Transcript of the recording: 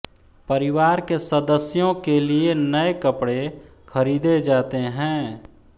परिवार के सदस्यों के लिए नये कपड़े खरीदे जाते हैं